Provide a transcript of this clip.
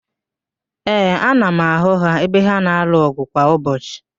Ee, ana m ahụ ha ebe ha na-alụ ọgụ kwa ụbọchị